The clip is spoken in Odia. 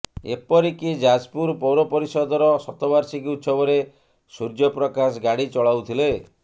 ଏପରିକି ଯାଜପୁର ପୌରପରିଷଦର ଶତବାର୍ଷିକୀ ଉତ୍ସବରେ ସୂର୍ଯ୍ୟପ୍ରକାଶ ଗାଡ଼ି ଚଲାଉଥିଲେ